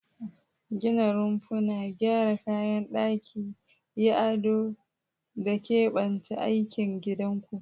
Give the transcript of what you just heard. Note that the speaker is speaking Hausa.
Gina rumfuna, gyara kayan daki, yi ado, da keɓance yankin gidanku.